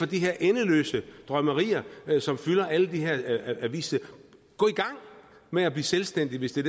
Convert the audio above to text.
de her endeløse drømmerier som fylder alle de her avissider gå i gang med at blive selvstændige hvis det